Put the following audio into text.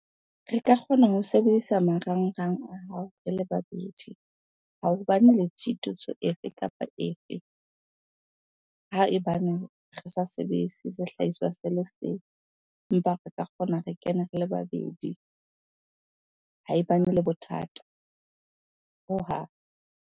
Re ka kgona ho sebedisa marangrang a hao re le babedi, ha ho bane le tshitiso efe kapa efe. Haebaneng re sa sehlahiswa se le seng empa re ka kgona re kene re le babedi. Haebane le bothata hohang.